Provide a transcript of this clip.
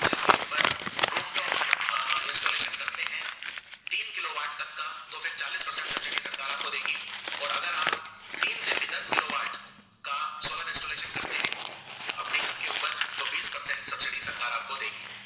सरकार आपको देगी